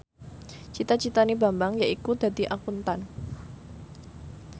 cita citane Bambang yaiku dadi Akuntan